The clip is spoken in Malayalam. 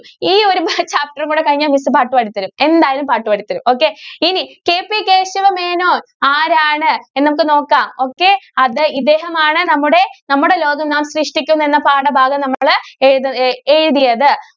ഈ ഒരു ഭാ chapter കൂടി കഴിഞ്ഞാല്‍ miss പാട്ട് പാടിതരും. എന്തായാലും പാട്ട് പാടിതരും. okay ഇനി KP കേശവമേനോന്‍ ആരാണ്? എന്ന് നമുക്ക് നോക്കാം. okay അദ്ദേ ഇദ്ദേഹമാണ് നമ്മുടെ, നമ്മുടെ ലോകം നാം സൃഷ്‌ടിക്കുന്നു എന്ന പാഠഭാഗം നമ്മള് എഴുതി എ~എഴുതിയത്.